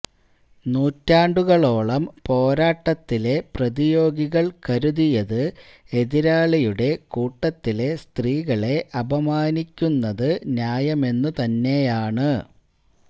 നൂറ്റാണ്ടുകളോളം പോരാട്ടത്തിലെ പ്രതിയോഗികള് കരുതിയത് എതിരാളിയുടെ കൂട്ടത്തിലെ സ്ത്രീകളെ അപമാനിക്കുന്നത് ന്യായമെന്നുതന്നെയാണ്